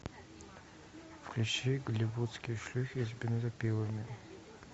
включи голливудские шлюхи с бензопилами